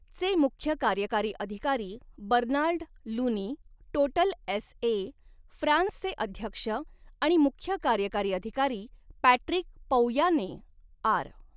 चे मुख्य कार्यकारी अधिकारी Bernard Looney, Total S A, फ्रान्सचे अध्यक्ष आणि मुख्य कार्यकारी अधिकारी पॅट्रिक पौयांने, आर.